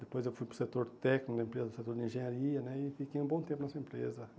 Depois eu fui para o setor técnico da empresa, o setor de engenharia né, e fiquei um bom tempo nessa empresa.